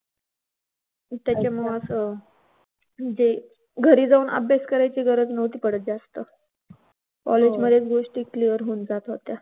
तर त्याच्यामुळेच अह म्हणजे घरी जाऊन अभ्यास करायची गरज नव्हती पडत जास्त हो. कॉलेज मधेच गोष्टी clear होऊन जात होत्या.